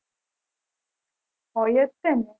હોય જ છે ને